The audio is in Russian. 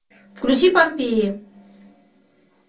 включи помпеи